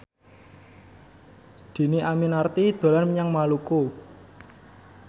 Dhini Aminarti dolan menyang Maluku